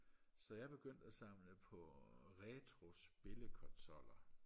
så jeg begyndte og samle på øh retro spillekonsoller